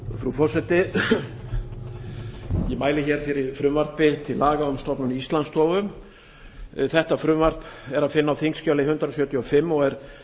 frú forseti ég mæli fyrir frumvarpi til laga um stofnun íslandsstofu þetta frumvarp er að finna á þingskjali hundrað sjötíu og fimm og er